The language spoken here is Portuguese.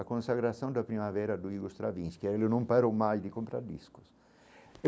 A consagração da primavera do Igor Stravinsky, aí ele não parou mais de comprar discos.